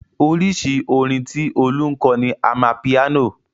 Oríṣi orin tí Olú ń kọ ni amapiano.